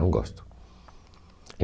Não gosto.